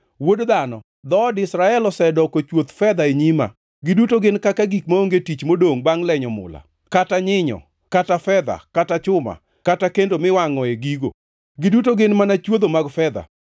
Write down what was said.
“Wuod dhano, dhood Israel osedoko chuoth fedha e nyima; giduto gin kaka gik maonge tich modongʼ bangʼ lenyo mula, kata nyinyo, kata fedha, kata chuma, kata kendo miwangʼoe gigo. Giduto gin mana chwodho mag fedha.